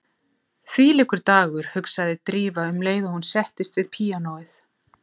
Þvílíkur dagur, hugsaði Drífa um leið og hún settist við píanóið.